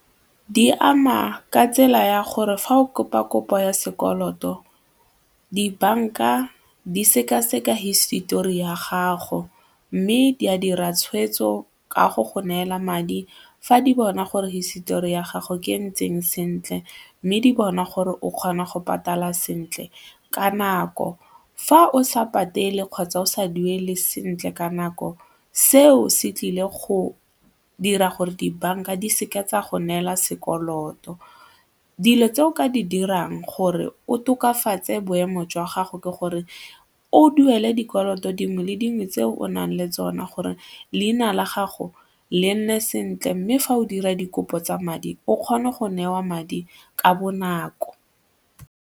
Di ama ka tsela ya gore fa o kopa kopo ya sekoloto dibanka di sekaseka hisitori ya gago mme di a dira tshweetso ka go go neela madi fa di bona gore hisitori ya gago ke e ntseng sentle mme di bona gore o kgona go patala sentle ka nako. Fa o sa patele kgotsa o sa duele sentle ka nako, seo se tlile go dira gore dibanka di seka tsa go neela sekoloto. Dilo tse o ka di dirang gore o tokafatse boemo jwa gago ke gore o duele dikoloto dingwe le dingwe tse o nang le tsona gore leina la gago le nne sentle mme fa o dira dikopo tsa madi o kgone go newa madi ka bonako.